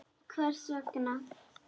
Hvers vegna?